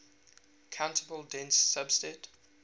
countable dense subset